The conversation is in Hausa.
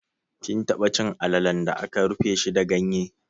Kin taba cin alalan da aka rufe shi da ganye?